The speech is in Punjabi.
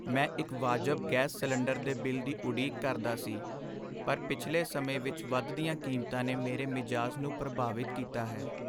ਮੈਂ ਇੱਕ ਵਾਜਬ ਗੈਸ ਸਿਲੰਡਰ ਦੇ ਬਿੱਲ ਦੀ ਉਡੀਕ ਕਰਦਾ ਸੀ, ਪਰ ਪਿਛਲੇ ਸਮੇਂ ਵਿੱਚ ਵਧਦੀਆਂ ਕੀਮਤਾਂ ਨੇ ਮੇਰੇ ਮਿਜ਼ਾਜ ਨੂੰ ਪ੍ਰਭਾਵਿਤ ਕੀਤਾ ਹੈ।